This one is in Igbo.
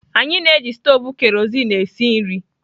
Anyị na-eji stovu kerosene esi nri.